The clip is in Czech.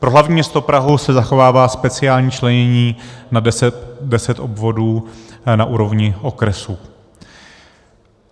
Pro hlavní město Prahu se zachovává speciální členění na deset obvodů na úrovni okresu.